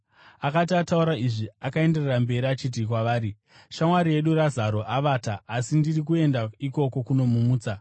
Akati ataura izvi, akaenderera mberi achiti kwavari, “Shamwari yedu Razaro avata; asi ndiri kuenda ikoko kunomumutsa.”